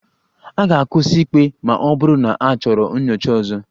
A ga-akwụsị ikpe ma ọ bụrụ na achọrọ nyocha ọzọ